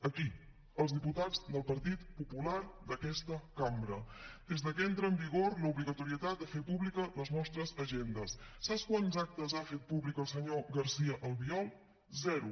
aquí els diputats del partit popular d’aquesta cambra des de que entra en vigor l’obligatorietat de fer públiques les nostres agendes saps quants actes ha fet públics el senyor garcía albiol zero